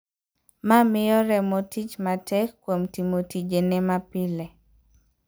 Ma miyo remo tich matek kuom timo tijene mapile.